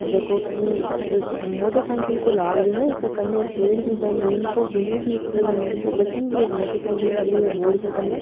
जेको की एक मोटरसाइकिल को लाग रियो है इक कने एक पेड़ भी है नीम कोबीने भी पेड़ है नीम को बठीन भी एक मोटरसाइकिल खड़ी है एक बोर्ड के कने।